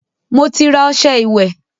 Mo ti ra ọṣẹ́ ìwẹ́.